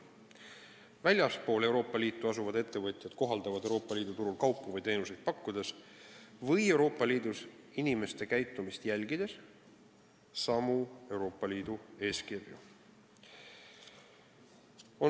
Väljaspool Euroopa Liitu asuvad ettevõtjad kohaldavad Euroopa Liidu turul kaupu või teenuseid pakkudes või Euroopa Liidus inimeste käitumist jälgides samu Euroopa Liidu eeskirju.